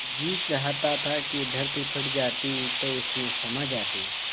जी चाहता था कि धरती फट जाती तो उसमें समा जाती